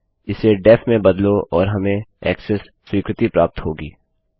इसे डेफ में बदलो और हमें ऐक्सेस स्वीकृति प्राप्त होगी